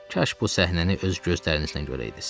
Kaş bu səhnəni öz gözlərinizlə görəydiniz.